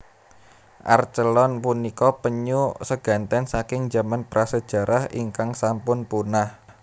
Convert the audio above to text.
Archelon punika penyu seganten saking jaman prasejarah ingkang sampun punah